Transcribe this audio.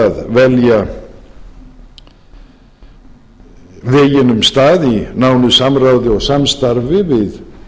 að velja veginum stað í nánu samráði og samstarfi við